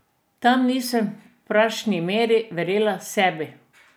Tam nisem v pravšnji meri verjela sebi.